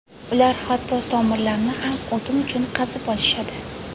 Ular hatto tomirlarni ham o‘tin uchun qazib olishadi.